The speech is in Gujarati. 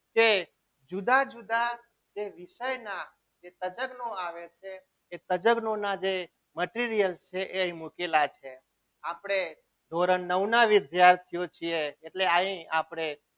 કે જુદા જુદા જે વિષયના જે તજજ્ઞો આવે છે એ તજજ્ઞોના જે material છે એ અહીં મૂકેલા છે આપણે ધોરણ નવ ના વિદ્યાર્થીઓ છીએ એટલે અહીં આપણે